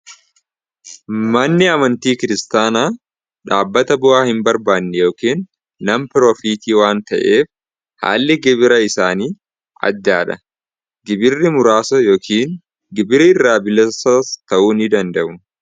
Manni amantii kiristaanaa dhaabbata bu'aa hin barbaanne yookiin nam proofiitii waan ta'eef haalli gibira isaanii ajdaadha gibirri muraasa yookiin gibira irraa bilasa ta'uu ni danda'u.